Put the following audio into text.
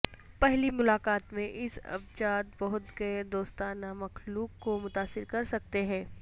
پہلی ملاقات میں اس ابجات بہت غیر دوستانہ مخلوق کو متاثر کر سکتے ہیں